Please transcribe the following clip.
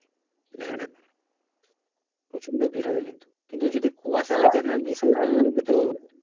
হ্যাঁ প্রচণ্ড ভিড় হবে কিন্তু কিন্তু যদি কুয়াশা হয়ে যায় না বিশাল তো